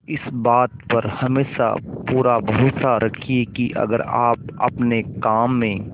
इस बात पर हमेशा पूरा भरोसा रखिये की अगर आप अपने काम में